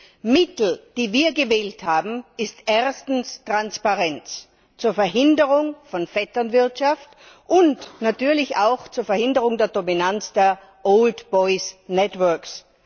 Das Mittel, das wir gewählt haben, ist erstens Transparenz zur Verhinderung von Vetternwirtschaft und natürlich auch zur Verhinderung der Dominanz der Old Boys´ Networks